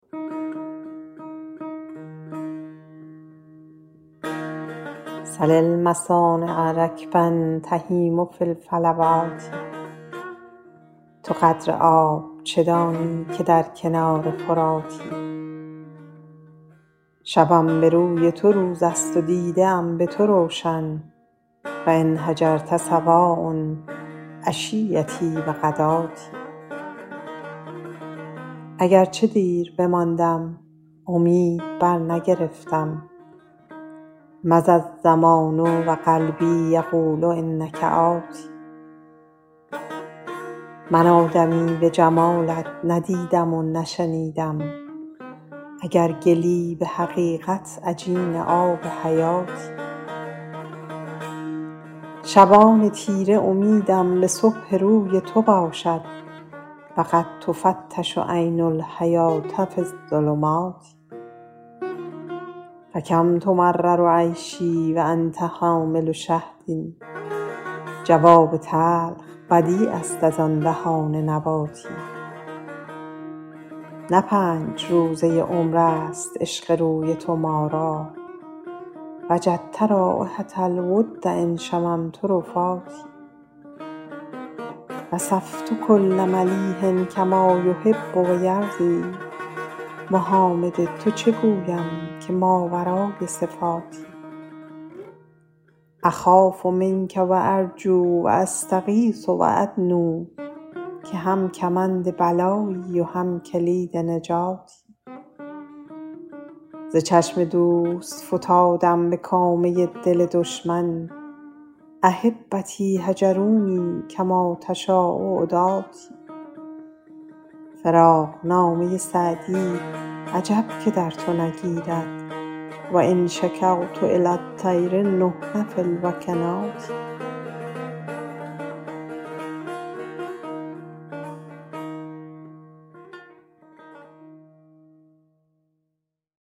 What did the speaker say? سل المصانع رکبا تهیم فی الفلوات تو قدر آب چه دانی که در کنار فراتی شبم به روی تو روز است و دیده ها به تو روشن و إن هجرت سواء عشیتي و غداتي اگر چه دیر بماندم امید برنگرفتم مضی الزمان و قلبي یقول إنک آت من آدمی به جمالت نه دیدم و نه شنیدم اگر گلی به حقیقت عجین آب حیاتی شبان تیره امیدم به صبح روی تو باشد و قد تفتش عین الحیوة في الظلمات فکم تمرر عیشي و أنت حامل شهد جواب تلخ بدیع است از آن دهان نباتی نه پنج روزه عمر است عشق روی تو ما را وجدت رایحة الود إن شممت رفاتي وصفت کل ملیح کما یحب و یرضیٰ محامد تو چه گویم که ماورای صفاتی أخاف منک و أرجو و أستغیث و أدنو که هم کمند بلایی و هم کلید نجاتی ز چشم دوست فتادم به کامه دل دشمن أحبتي هجروني کما تشاء عداتي فراقنامه سعدی عجب که در تو نگیرد و إن شکوت إلی الطیر نحن في الوکنات